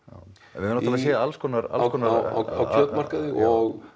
höfum náttúrulega séð alls konar á kjötmarkaði og